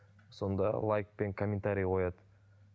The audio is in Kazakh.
сонда лайк пен комментарий қояды